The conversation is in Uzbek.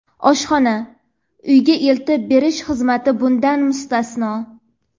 oshxona (uyga eltib berish xizmati bundan mustasno);.